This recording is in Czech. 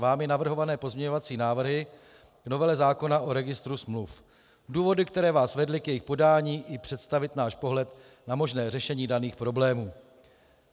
Vámi navrhované pozměňovací návrhy k novele zákona o registru smluv, důvody, které Vás vedly k jejich podání, i představit náš pohled na možné řešení daných problémů.